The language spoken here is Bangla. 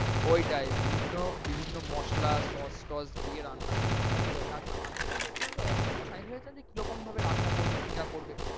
ওইটাই বিভিন্ন বিভিন্ন মসলা sauce টস দিয়ে রান্না করলে ওটা একটা আমি যেটা দেখলাম যে octopus আমি ভেবেছিলাম কি রকম ভাবে রান্না করবে কি না করবে।